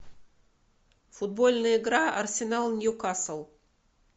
футбольная игра арсенал ньюкасл